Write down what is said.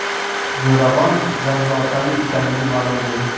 Zo‘ravon zangiotalik ekanligi ma’lum bo‘ldi.